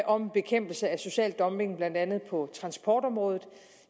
om bekæmpelse af social dumping blandt andet på transportområdet